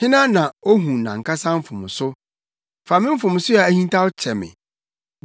Hena na ohu nʼankasa mfomso? Fa me mfomso a ahintaw kyɛ me.